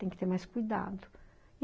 Tem que ter mais cuidado.